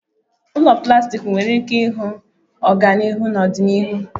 Ụlọ plastik nwere ike ịhụ ọganihu na ọdịnihu